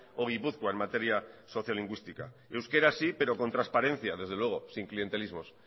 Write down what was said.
o gipuzkoa en materia sociolingüística euskera sí pero con transparencia desde luego sin clientelismos